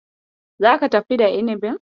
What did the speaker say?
Zaka tafi da inibin?